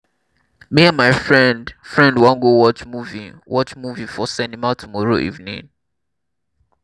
me and my friend friend wan go watch movie watch movie for cinema tomorrow evening